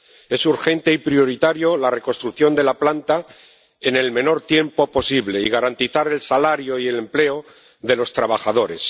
Es urgente y prioritaria la reconstrucción de la planta en el menor tiempo posible y garantizar el salario y el empleo de los trabajadores.